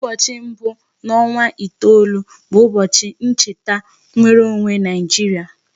ụbọchị mbu n'onwa asato bụ ụbọchị ncheta nwereonwe Nigeria.